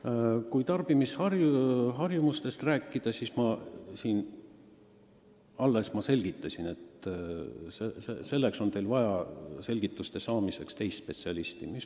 Mis puutub tarbimisharjumustesse, siis ma alles märkisin, et selgituste saamiseks on teil vaja teist spetsialisti.